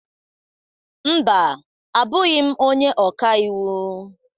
Mba, abụghị m onye ọka iwu.